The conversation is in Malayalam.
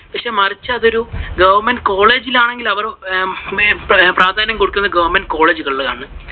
മറിച്ചു അതൊരു government college ൽ ആണെങ്കിൽ അവര് പ്രാധാന്യം കൊടുക്കുന്നത് government college കള്‍ ആണ്.